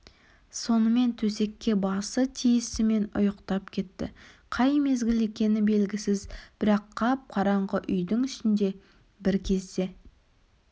сонымен төсекке басы тиісімен ұйықтап кетті қай мезгіл екені белгісіз бірақ қап-қараңғы үйдің ішінде бір кезде